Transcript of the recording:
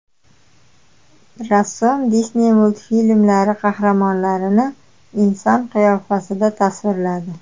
Rassom Disney multfilmlari qahramonlarini inson qiyofasida tasvirladi .